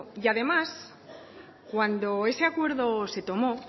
y además cuando ese acuerdo se tomó